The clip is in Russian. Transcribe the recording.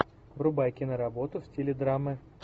врубай киноработу в стиле драмы